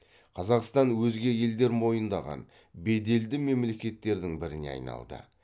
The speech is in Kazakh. қазақстан өзге елдер мойындаған беделді мемлекеттердің біріне айналды